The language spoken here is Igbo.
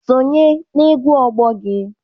Sonye na-egwu ọgbọ gị!